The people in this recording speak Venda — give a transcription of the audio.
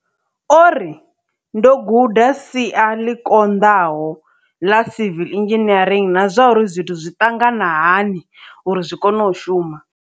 O ri, ndo guda sia ḽi konḓa ho ḽa civil engineering na zwauri zwithu zwi ṱangana hani uri zwi kone u shuma.